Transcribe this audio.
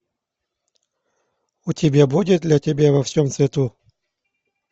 у тебя будет для тебя во всем цвету